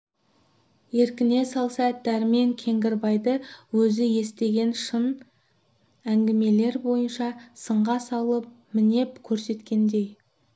еркіне салса дәрмен кеңгірбайды өзі естіген шын әңгімелер бойынша сынға салып мінеп көрсеткендей